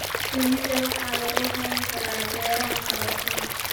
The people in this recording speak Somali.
Shinida waxaa lagu hayn karaa beeraha karootada.